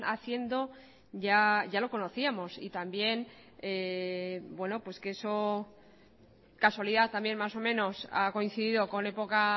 haciendo ya lo conocíamos y también que eso casualidad también más o menos ha coincidido con época